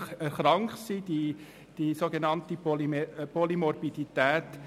Man spricht dabei von der sogenannten Polymorbidität.